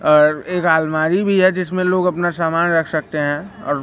और एक आलमारी भी है जिसमें लोग अपना सामान रख सकते है और--